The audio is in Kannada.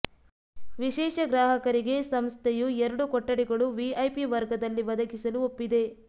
ವಿಶೇಷ ಗ್ರಾಹಕರಿಗೆ ಸಂಸ್ಥೆಯು ಎರಡು ಕೊಠಡಿಗಳು ವಿಐಪಿ ವರ್ಗದಲ್ಲಿ ಒದಗಿಸಲು ಒಪ್ಪಿದೆ